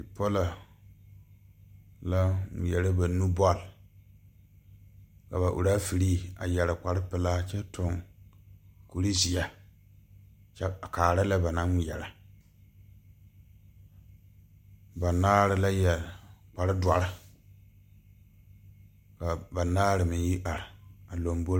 Bipɔlɔ la ngmeɛrɛ ba nu bɔl ka ba rafiree a yɛre kpare pelaa kyɛ tuŋ kurizeɛ kyɛ a kaara lɛ ba naŋ ngmeɛrɛ banaare la yɛre kpare dɔre ka banaare meŋ yi are a lombore.